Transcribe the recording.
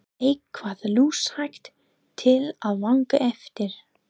Eitthvað lúshægt til að vanga eftir!